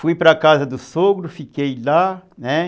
Fui para a casa do sogro, fiquei lá, né?